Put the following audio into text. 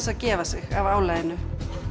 að gefa sig af álaginu